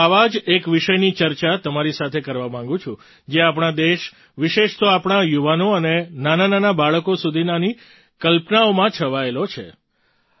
આજે હું આવા જ એક વિષયની ચર્ચા તમારી સાથે કરવા માગું છું જે આપણા દેશ વિશેષ તો આપણા યુવાનો અને નાનાંનાનાં બાળકો સુધીનાની કલ્પનાઓમાં છવાયેલો છે